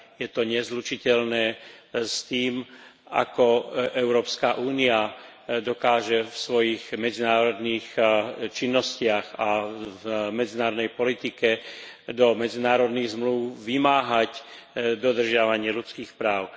Je to nezlučiteľné s tým, ako Európska únia dokáže vo svojich medzinárodných činnostiach a v medzinárodnej politike do medzinárodných zmlúv vymáhať dodržiavanie ľudských práv.